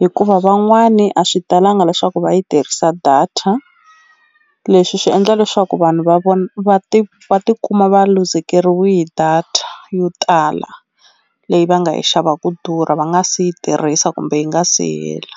hikuva van'wani a swi talanga leswaku va yi tirhisa data leswi swi endla leswaku vanhu va vona va ti va ti kuma va luzekeriwi hi data yo tala leyi va nga yi xava ku durha va nga si yi tirhisa kumbe yi nga si hela.